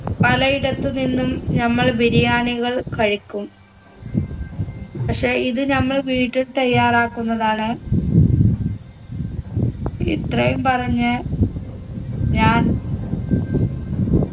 പലയിടത്ത് നിന്നും നമ്മൾ ബിരിയാണികൾ കഴിക്കും പക്ഷെ ഇത് നമ്മൾ വീട്ടിൽ തയ്യാറാക്കുന്നതാണ് ഇത്രയും പറഞ്ഞ് ഞാൻ